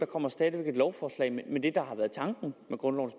kommer stadig væk et lovforslag men det der har været tanken med grundlovens